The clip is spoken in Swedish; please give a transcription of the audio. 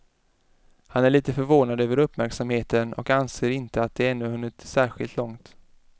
Han är lite förvånad över uppmärksamheten och anser inte att de ännu hunnit särskilt långt.